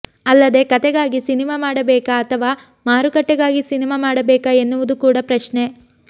ಅಲ್ಲದೆ ಕತೆಗಾಗಿ ಸಿನಿಮಾ ಮಾಡಬೇಕಾ ಅಥವಾ ಮಾರುಕಟ್ಟೆಗಾಗಿ ಸಿನಿಮಾ ಮಾಡಬೇಕಾ ಎನ್ನುವುದು ಕೂಡ ಪ್ರಶ್ನೆ